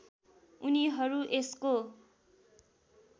उनीहरू यसको